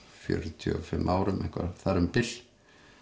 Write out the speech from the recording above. fjörutíu og fimm árum þar um bil